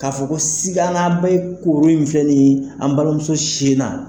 Ka fɔ ko sikana be kuru in filɛ nin ye an balimamuso sin na